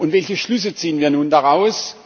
Welche Schlüsse ziehen wir nun daraus?